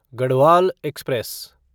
Garhwal express